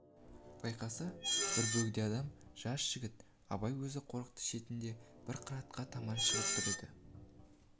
байқаса бір бөгде адам жас жігіт абай өзі қорықтың шетінде бір қыратқа таман шығып тұр еді